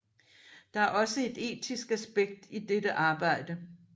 Der er også et etisk aspekt i dette arbejde